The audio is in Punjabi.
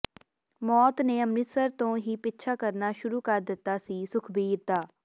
ਮੌਤ ਨੇ ਅੰਮ੍ਰਿਤਸਰ ਤੋਂ ਹੀ ਪਿੱਛਾ ਕਰਨਾ ਸ਼ੁਰੂ ਕਰ ਦਿੱਤਾ ਸੀ ਸੁਖਵੀਰ ਦਾ